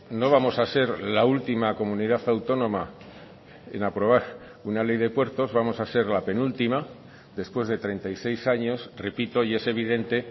no vamos a ser la última comunidad autónoma en aprobar una ley de puertos vamos a ser la penúltima después de treinta y seis años repito y es evidente